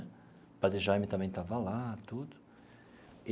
O padre Jaime também estava lá, tudo.